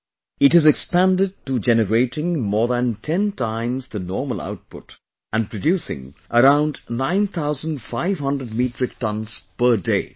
Now, it has expanded to generating more than 10 times the normal output and producing around 9500 Metric Tonnes per day